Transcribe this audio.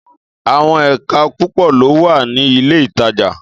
Àwon èka púpò ló wà ní ilé ìtajà